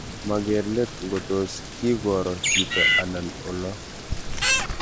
Maker let ngotos kikuro chito anan olo